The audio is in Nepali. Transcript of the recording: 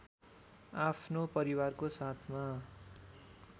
आफ्नो परिवारको साथमा